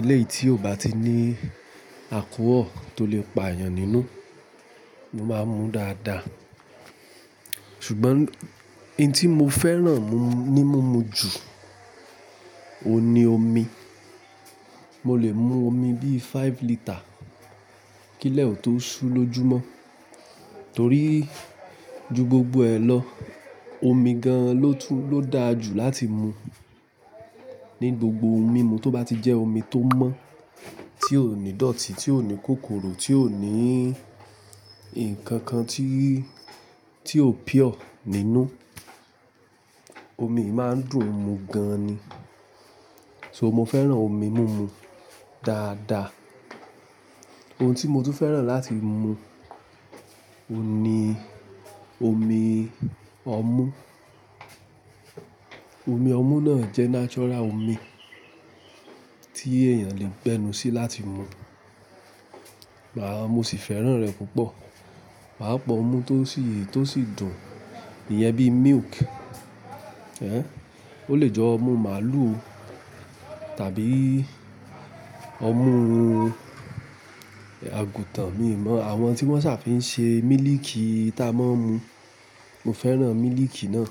Eléyìí tí ò bá ti ní alchohol tó lè pa èèyàn nínú, mo máa ń mu dáadáa. Ṣùgbọ́n hin tí mo fẹ́ràn mu-- ní múmu jù, òun ni omi. Mo lè mu omi bíí five litre kílẹ̀ ò tó sù lójúmọ́. Torí ju gbogbo ẹ̀ lọ, omi gan ló tú-- ló da jù láti mu. Ni gbogbo ohun mímu tó bá ti jẹ́ omi tó mọ́, tí ò ní dọ̀tí, tí ò ní kòkòrò, tí ò ní nǹkan kan tí, tí ò pure nínú, omi yí máa ń dùn mu gan ni. So mo fẹ́ràn omi múmu dáadáa. Ohun tí mo tún fẹ́ràn láti mu òun ni omi ọmú. Omi ọmú náà jẹ́ natural omi tí èèyàn lè gbẹ́nu sí láti mu. Màá-- mo sì fẹ́ràn rẹ̀ púpọ̀. Màá pọ̀ ọmú tó sì, tó sì dùn nìyẹn bíí milk, ẹ́ń, ó lè jẹ́ ọmú màlúù tàbí ọmú àgùntàn, mi ò mọ̀. Àwọn tí wọ́n ṣà fi ń ṣe mílíìkì tí a máa ń mu. Mo fẹ́ràn mílíìkì náà.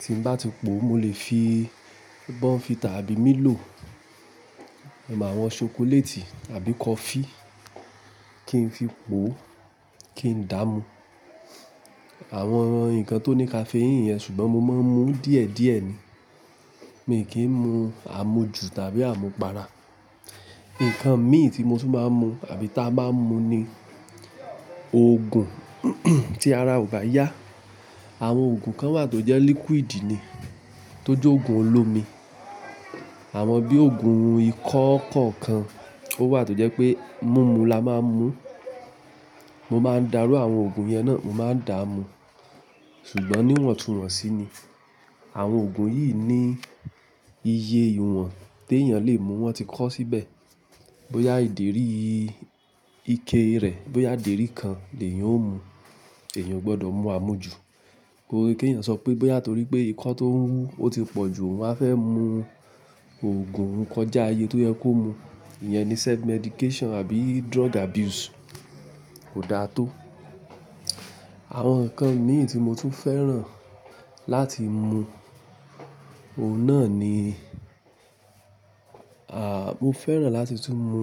Tí n bá tipò, mo lè fi bournvita tàbí Milo, àwọn ṣokoléètì àbí kọfí kí n fi pò ó kí n dààmú. Àwọn ǹkan tó ní caffeine yẹn ṣùgbọ́n mo máa ń mú díẹ̀díẹ̀ ni. Mi ò kí ń mu àmújù tàbí àmupara. Ǹkan mí tí mo tún máa ń mu àbí tá a máa ń mu ni òògùn tí ara ò bá yá. Àwọn òògùn kan wà tó jẹ́ liquid ni tó jẹ́ òògùn olómi. Àwọn bí òògùn ikọ́ kọ̀ọ̀kan, ó wà tó jẹ́ pé mímú là máa ń mu. Mo máa ń darú àwọn òògùn yẹn náà, mo máa ń dààmú ṣùgbọ́n níwọ̀n tún wọ̀n sì ni. Àwọn òògùn yìí ní iye ìwọ̀n tí èèyàn lè mu. Wọ́n ti kọ́ síbẹ̀ bóyá ìdérí ike rẹ̀, bóyá dèrí kan ni èèyàn ó mu. Èèyàn ò gbọdọ̀ mú àmújù. Kò yẹ kí èèyàn sọ pé bóyá torí pé ikọ́ tó ń wú ó ti pọ̀ jù, ohun wá fẹ́ mu òògùn kọjá iye tó yẹ kó mu. Ìyẹn ni self medication àbí drug abuse. Kò da tó. Àwọn ǹkan mí tí mo tún fẹ́ràn láti mu, òun náà ni à, mo fẹ́ràn láti tún mu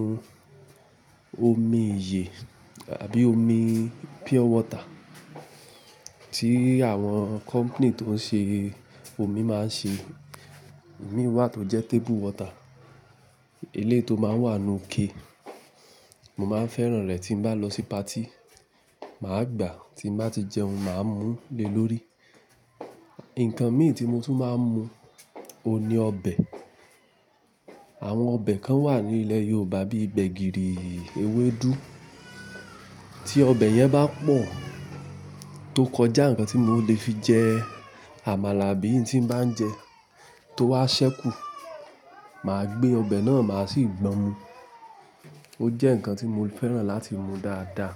omi iyè àbí omi pure water tí àwọn company tó ń ṣe omi máa ń ṣe. Omi wà tó jẹ́ table water. Ilé tó máa ń wà nù ike. Mo máa ń fẹ́ràn rẹ̀ tí mo bá lọ sí party. Màá gbà tí mo bá ti jẹun, màá mú lé lórí. Ǹkan mí tí mo tún máa ń mu òun ni ọbẹ̀. Àwọn ọbẹ̀ kan wà ní ilẹ̀ Yorùbá bíi gbẹ̀gìrì, ewédú. Tí ọbẹ̀ yẹn bá pọ̀ tó kọjá ǹkan tí mò lè fi jẹ àmàlà bí i tí bá ń jẹ tó wá ṣẹ́kù, màá gbé ọbẹ̀ náà, màá sì gbọ́n mu. Ó jẹ́ ǹkan tí mo fẹ́ràn láti mu dáadáa.